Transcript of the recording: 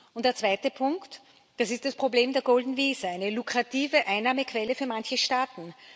Und der zweite Punkt, das ist das Problem der golden visa eine lukrative Einnahmequelle für manche Staaten.